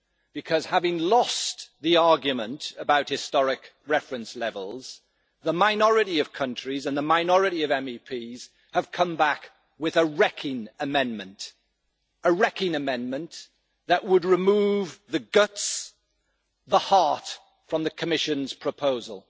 because, having lost the argument about historic reference levels, the minority of countries and the minority of MEPs have come back with a wrecking amendment a wrecking amendment that would remove the guts, the heart, from the Commission's proposal.